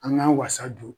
An k'an wasa don